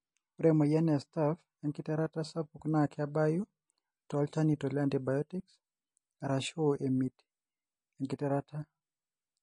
ore emoyian e staph engitirata sapukna kebayu tolchanito le antibiotics arashu amit engitirata.